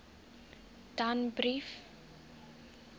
danbrief